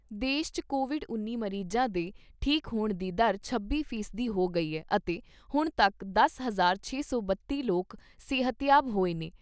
ਦੇਸ਼ 'ਚ ਕੋਵਿਡ ਉੱਨੀ ਮਰੀਜਾਂ ਦੇ ਠੀਕ ਹੋਣ ਦੀ ਦਰ ਛੱਬੀ ਫੀਸਦੀ ਹੋ ਗਈ ਏ ਅਤੇ ਹੁਣ ਤੱਕ ਦਸ ਹਜ਼ਾਰ ਛੇ ਸੌ ਬੱਤੀ ਲੋਕ ਸਿਹਤਯਾਬ ਹੋਏ ਨੇ।